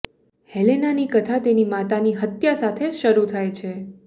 હેલેનાની કથા તેની માતાની હત્યા સાથે શરૂ થાય છે